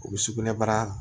O bɛ sugunɛbara